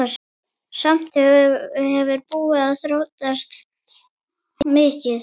Samt hefur búðin þróast mikið.